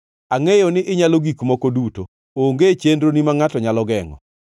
“Angʼeyo ni inyalo gik moko duto; onge chenroni ma ngʼato nyalo gengʼo.